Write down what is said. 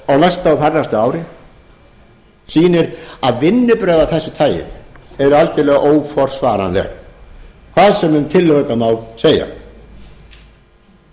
á næsta og þarnæsta ári sýnir að vinnubrögð af þessu tagi eru algjörlega óforsvaranleg hvað sem um tillögurnar má segja ég hef áður hér rakið